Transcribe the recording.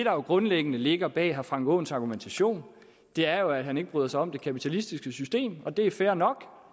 jo grundlæggende ligger bag herre frank aaens argumentation er at han ikke bryder sig om det kapitalistiske system og det er fair nok